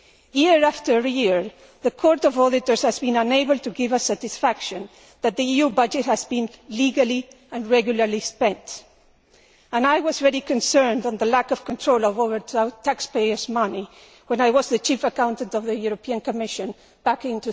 Year after year, the Court of Auditors has been unable to give us satisfaction that the EU budget has been legally and regularly spent, and I was really concerned at the lack of control over taxpayers' money when I was the chief accountant of the European Commission back in